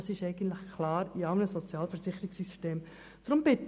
Das ist eigentlich in allen Sozialversicherungssystemen klar geregelt.